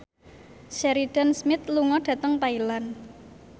Sheridan Smith lunga dhateng Thailand